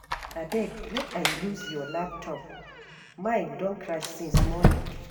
Abeg make I use your laptop, mine don crash since morning